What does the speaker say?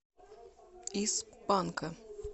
из панка